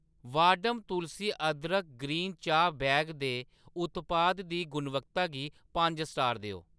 वाहडम तुलसी अदरक ग्रीन चाह् बैग दे उत्पाद दी गुणवत्ता गी पंज स्टार देओ।